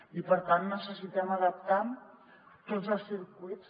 i per tant necessitem adaptar tots els circuits